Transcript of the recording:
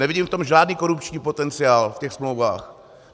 Nevidím v tom žádný korupční potenciál, v těch smlouvách.